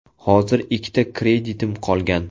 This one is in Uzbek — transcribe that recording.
Hozir ikkita kreditim qolgan.